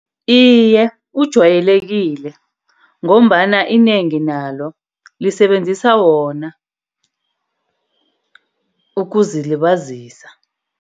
Iye, kujwayelekile ngombana inengi nalo lisebenzisa wona ukuzilibazisa.